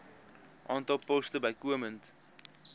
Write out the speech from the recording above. aantal poste bykomend